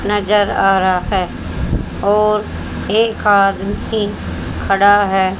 नजर आ रहा है और एक आदमी खड़ा है।